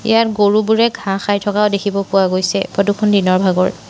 ইয়াত গৰুবোৰে ঘাঁহ খায় থকাও দেখিব পোৱা গৈছে ফটো খন দিনৰ ভাগৰ।